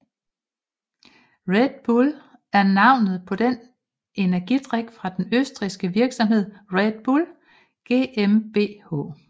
Red Bull er navnet på en energidrik fra den østrigske virksomhed Red Bull GmbH